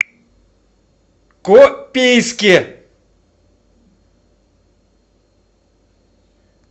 копейске